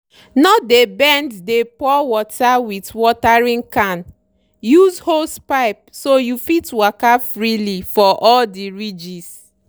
no dey bend dey pour water with watering can—use hosepipe so you fit waka freely for all the ridges.